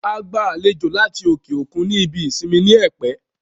A gba àlejò láti òkè òkun ní ibi ìsinmi ní Ẹ̀pẹ́